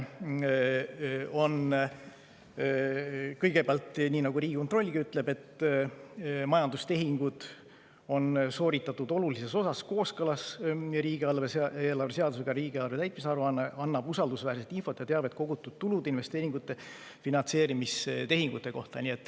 Nii nagu Riigikontrollgi ütleb, majandustehingud on sooritatud olulises osas kooskõlas riigieelarve seadusega, riigieelarve täitmise aruanne annab usaldusväärset infot ja teavet kogutud tulude, investeeringute ja finantseerimistehingute kohta.